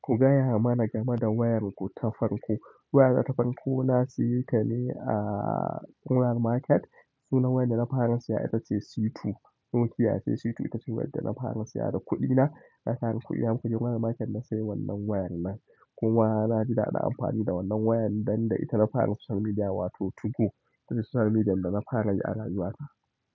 Ku gaya mana game da wayarku ta farko. Wayata ta farko na siyeta ne a ƙura Market. Sunan wayar da na fara siya ita ce C2. Nokia ce C2 ita ce wayar da na fara siya da kuɗina. Na tara kuɗi naje ƙura market na sayi wannan wayar nan. Kuma naji daɗin amfani da wannan wayar dan da ita na fara social media wato 2go. Itace social media dana fara yi a rayuwata.